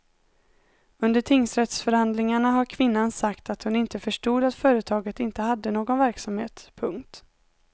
Under tingsrättsförhandlingarna har kvinnan sagt att hon inte förstod att företaget inte hade någon verksamhet. punkt